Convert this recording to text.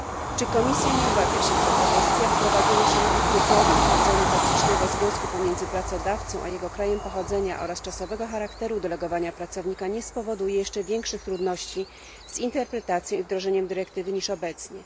Czy Komisja nie obawia się, że propozycja wprowadzenia szeregu kryteriów oceny faktycznego związku pomiędzy pracodawcą a jego krajem pochodzenia oraz czasowego charakteru delegowania pracownika nie spowoduje jeszcze większych trudności z interpretacją i wdrożeniem dyrektywy niż obecnie?